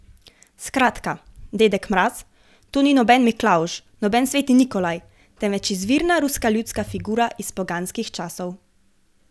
Skratka, Dedek Mraz, to ni noben Miklavž, noben sveti Nikolaj, temveč izvirna ruska ljudska figura iz poganskih časov.